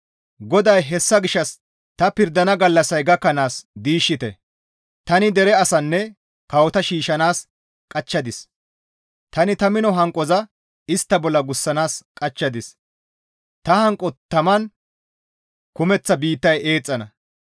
GODAY, «Hessa gishshas ta pirdana gallassay gakkanaas diishshite; tani dere asanne kawota shiishshanaas qachchadis. Tani ta mino hanqoza istta bolla gussanaas qachchadis. Ta hanqo taman kumeththa biittay eexxana.